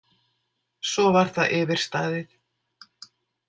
Svo var það yfirstaðið.